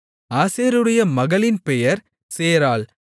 ஆசேருடைய மகளின் பெயர் சேராள்